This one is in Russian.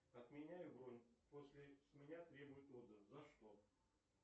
отменяю бронь после с меня требуют отзыв за что